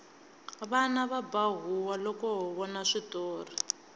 vana va ba huwa loko ho vona switori